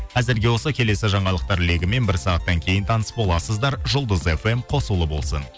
әзірге осы келесі жаңалықтар легімен бір сағаттан кейін таныс боласыздар жұлдыз фм қосулы болсын